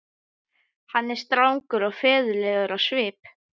Hann er strangur og föður legur á svip.